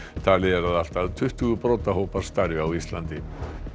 talið er að allt að tuttugu starfi á Íslandi